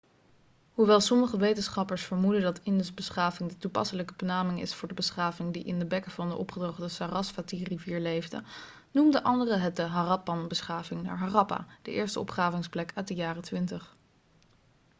hoewel sommige wetenschappers vermoeden dat indusbeschaving' de toepasselijke benaming is voor de beschaving die in de bekken van de opgedroogde sarasvatirivier leefde noemen anderen het de harappanbeschaving naar harappa de eerste opgravingsplek uit de jaren 20